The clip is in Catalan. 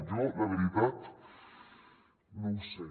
jo la veritat no ho sé